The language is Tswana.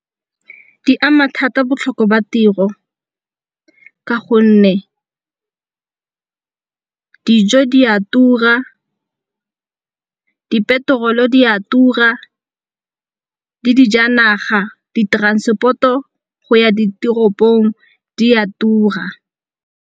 Di ama thata botlhoko ba tiro ka gonne dijo di a tura, di-petrol-o di a tura le dijanaga. Di-transport-o go ya ditoropong di a tura.